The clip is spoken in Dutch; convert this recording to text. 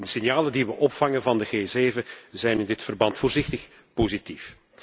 De signalen die we opvangen van de G7 zijn in dit verband voorzichtig positief.